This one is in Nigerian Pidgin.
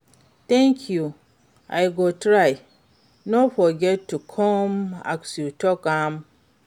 Thank you, i go try, no forget to come as you talk am.